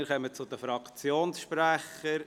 Wir kommen zu den Fraktionssprechern.